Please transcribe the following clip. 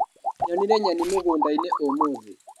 Nyonire nyeni mũgundainĩ ũmũthĩ.